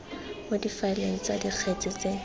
mo difaeleng tsa dikgetse tse